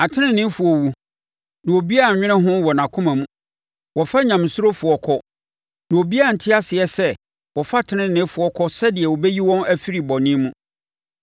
Ateneneefoɔ wu, na obiara nnwene ho wɔ nʼakoma mu; wɔfa Nyamesurofoɔ kɔ, na obiara nte aseɛ sɛ wɔfa teneneefoɔ kɔ sɛdeɛ wɔbɛyi wɔn afiri bɔne mu.